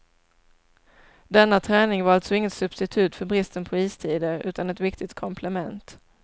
Denna träning var alltså inget substitut för bristen på istider utan ett viktigt komplement.